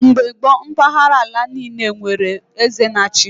Mgbe gboo mpahara ala niile were onye eze na-achi ha